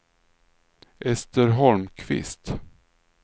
Ester Holmqvist